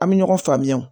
An bɛ ɲɔgɔn faamuya o